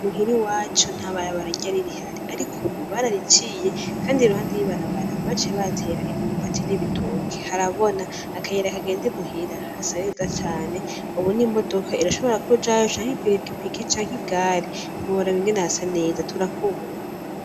Muhira iwacu nta barabara ryari rihari, ariko ubu barariciye, kandi iruhande y'ibarabara baciye bahatera imyumbati n'ibitoki harabona akayira kagenda imuhira hasa neza cane babone imodoka irashobora kujayo canke ipikipiki canke igari, ntimworaba ingene hasa neza turahakubura.